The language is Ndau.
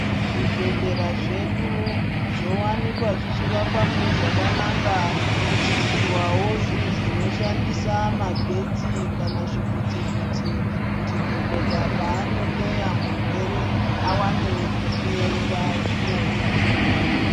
Zvibhedhlera zvedu zvowanikwa zvichivakwa mune zvakanaka zvichiisirwawo zvinhu zvinoshandisa magetsi kana zvivhiti vhiti kuti dhokodheya paano hloya murwere awane pekunyorera zviro zvakona.